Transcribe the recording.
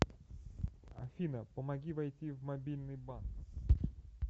афина помоги войти в мобильный банк